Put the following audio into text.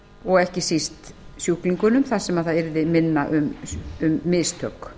og ekki síst sjúklingum þar sem það yrði minna um mistök